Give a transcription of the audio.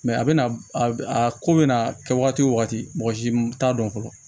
a bɛna a ko bɛna kɛ wagati wo wagati mɔgɔ si t'a dɔn fɔlɔ